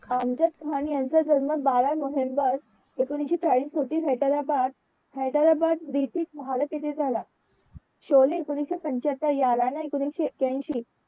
अमजद खान यांचा जन्म बारा नोव्हेंबर एकोणविशे चाळीस हैदराबाद ब्रिटिश भारत येथे झाला शोले. एकोणविशे पंचात्तर यलान एकोणविशे एक्यांशी